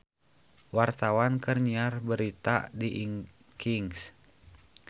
Wartawan keur nyiar berita di Kings